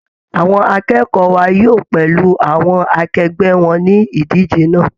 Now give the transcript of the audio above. Àwọn akẹ́kọ̀ọ́ wa yóò pẹ̀lú àwọn akegbẹ́ wọn níbi idije náà